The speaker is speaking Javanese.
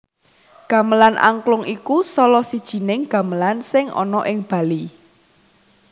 Gamelan Angklung iku salah sijining gamelan sing ana ing Bali